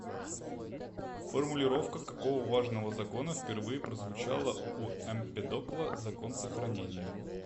формулировка какого важного закона впервые прозвучала у эмпедокла закон сохранения